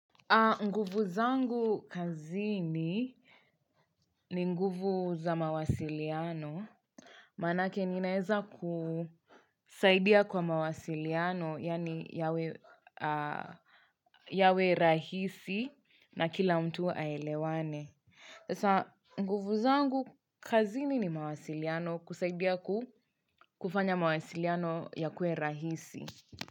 Nguvu zangu kazini ni nguvu za mawasiliano. Maanake ninaeza kusaidia kwa mawasiliano, yani yawe yawe rahisi na kila mtu aelewane. Nguvu zangu kazini ni mawasiliano kusaidia kufanya mawasiliano yakue rahisi.